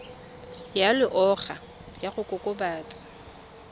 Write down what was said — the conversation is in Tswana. ya loago ya go kokobatsa